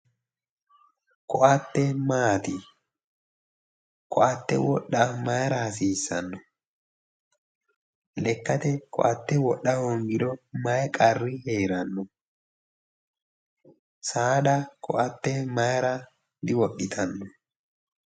Ko"atte maati ko"atte wodha mayra hasiissanno lekkate ko"atte wodha hoongiro mayi qarri heeranno saada ko"atte mayra diwodhitanno?